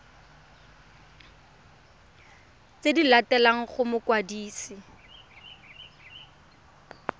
tse di latelang go mokwadisi